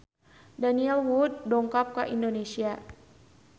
Daniel Wu dongkap ka Indonesia